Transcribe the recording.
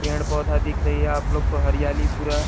पेड़-पौधा दिख रही है आपलोग को हरियाली पूरा --